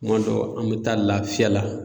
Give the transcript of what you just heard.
Kuma dɔ an bɛ taa lafiya la